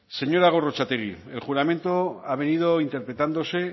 señora gorrotxategi el juramento ha pedido interpretándose